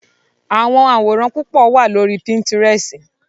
Awọn aworan pupọ wa lori Pintirẹsi